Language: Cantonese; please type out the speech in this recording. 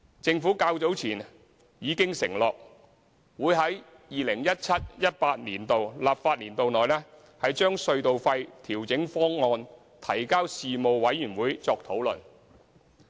政府較早前已經承諾，會於 2017-2018 立法年度內，把隧道費調整方案提交事務委員會作討論。